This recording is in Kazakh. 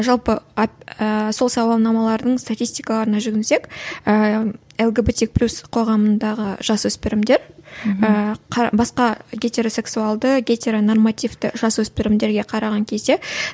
жалпы сол сауалнамалардың статистикаларына жүгінсек ііі лгбтик плюс қоғамындағы жасөспірімдер ііі басқа гетеросексуалды гетеронормативті жасөспірімдерге қараған кезде